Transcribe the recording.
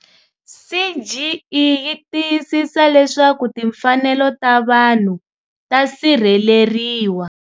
CGE yi tiyisisa leswaku timfanelo ta vanhu ta sirheleriwa.